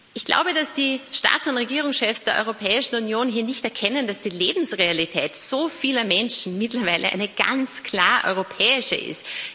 Ich glaube, dass die Staats und Regierungschefs der Europäischen Union hier nicht erkennen, dass die Lebensrealität so vieler Menschen mittlerweile eine ganz klar europäische ist.